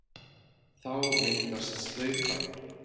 Þá myndast slaufan.